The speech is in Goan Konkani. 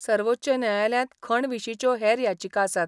सर्वोच्च न्यायालयात खण विशीच्यो हेर याचिका आसात.